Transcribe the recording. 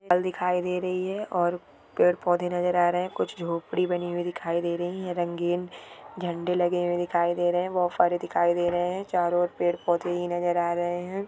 कल दिखाई दे रही है और पेड़ पौधे नजर आ रहा है कुछ झोपड़ी बनी हुई दिखाई दे रही है रंगीन झंडे लगे हुए दिखाई दे रहे है वो फारे दिखाई दे रहे है चारों और पेड़ पौधे ही नजर आ रहे है।